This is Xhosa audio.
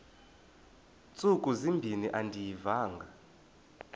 ntsuku zimbin andiyivanga